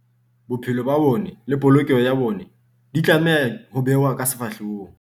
Bophelo ba bona le polokeho ya bona di tlameha ho bewa ka sehlohlolong.